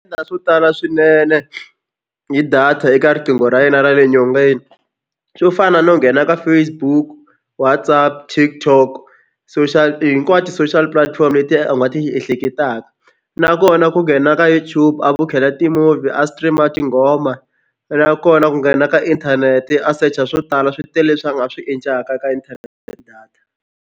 swo tala swinene hi data eka riqingho ra yena ra le nyongeni swo fana no nghena ka Facebook, WhatsApp, TikTok social hinkwato social platform letiya u nga ti ehleketaka nakona ku nghena ka YouTube a vukhela ti-movie a stream-a tinghoma nakona ku nghena ka inthanete a search-a swo tala swi tele leswi a swi endlaka ka internet data.